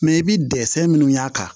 Mɛ i bɛ dɛsɛ minnu y'a kan